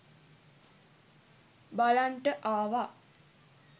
බලන්ට ආවා.